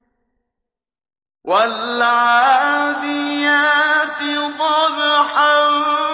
وَالْعَادِيَاتِ ضَبْحًا